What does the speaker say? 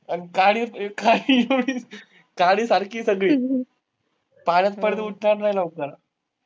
अन काडी काडीसारखी आहे सगळी. पाण्यात पडली तर उठणार नही लवकर.